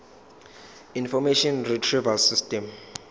information retrieval system